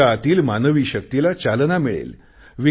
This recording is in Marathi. तुमच्या आतील मानवी शक्तीला चेतना मिळेल